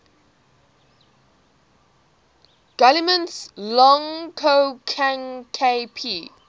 guillemets lang ko hang kp